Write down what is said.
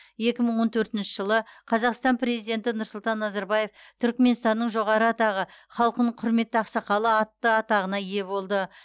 екі мың он төртінші жылы қазақстан президенті нұрсұлтан назарбаев түрікменстанның жоғары атағы халқының құрметті ақсақалы атты атағына ие болды